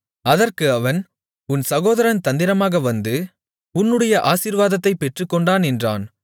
அதற்கு அவன் உன் சகோதரன் தந்திரமாக வந்து உன்னுடைய ஆசீர்வாதத்தைப் பெற்றுக்கொண்டான் என்றான்